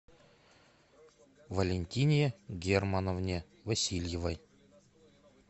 валентине германовне васильевой